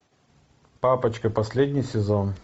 папочка последний сезон